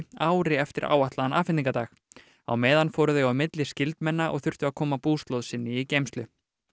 ári eftir áætlaðan afhendingardag á meðan fóru þau á milli skyldmenna og þurftu að koma búslóð sinni í geymslu